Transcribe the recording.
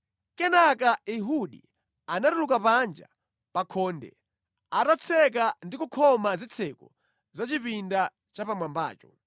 Kenaka Ehudi anatuluka panja pa khonde, atatseka ndi kukhoma zitseko za chipinda chapamwambacho.